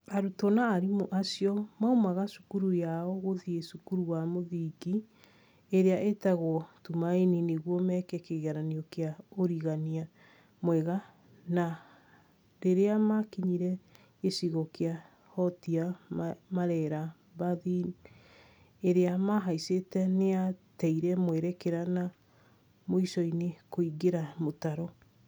Arutwo na arimũ acio maumaga cukuru yao gũthiĩ cukuru wa mũthingi ĩrĩa ĩtagwo Tumaini nĩguo meke kĩgeranio kĩa ũrigania mwega na rĩrĩa makinyire gĩcigo gĩa Rhotia Marera mbathi ĩrĩa mahaicire nĩyateire mwerekera na mũico-inĩ kũingĩra mũtaro